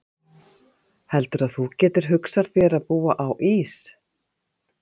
Heldurðu að þú getir hugsað þér að búa á Ís